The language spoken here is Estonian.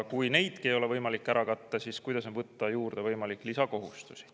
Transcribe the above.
Kui neidki ei ole võimalik ära katta, siis kuidas on võimalik võtta juurde lisakohustusi.